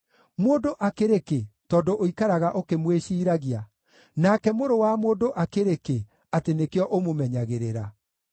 mũndũ akĩrĩ kĩ tondũ ũikaraga ũkĩmwĩciiragia, nake mũrũ wa mũndũ akĩrĩ kĩ atĩ nĩkĩo ũmũmenyagĩrĩra?